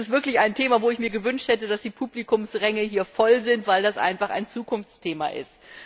Dies ist wirklich ein Thema, wo ich mir gewünscht hätte, dass die Publikumsränge hier voll sind, weil das einfach ein Zukunftsthema ist.